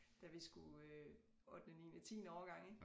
Da vi skulle øh ottende niende tiende årgang ik